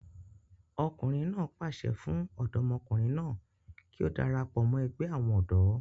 ọkùnrin náà pàṣẹ fún ọmọdékùnrin náà kí ó darapọ̀ mọ́ ẹgbẹ́ àwọn ọ̀dọ́